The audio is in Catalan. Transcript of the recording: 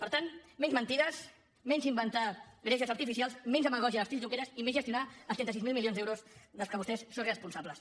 per tant menys mentides menys inventar greuges artificials menys demagògia a l’estil junqueras i més gestionar els trenta sis mil milions d’euros de què vostès són responsables